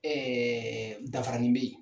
dafaranin bɛ ye.